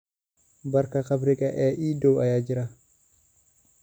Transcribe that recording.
baarka khamriga ee ii dhow ayaa jira